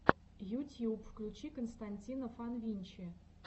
ютьюб включи константина фанвинчи